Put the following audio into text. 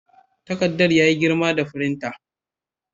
Takardar ya yi girma ga firinta.